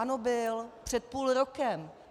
Ano, byl. Před půl rokem.